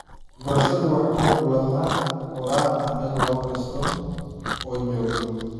Waxbarashadu waa xuquuq lama huraan u ah ilmo kasta oo jooga.